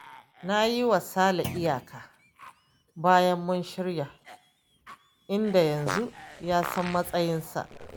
Na yi wa Sale iyaka bayan mun shirya, inda yanzu ya san matsayarsa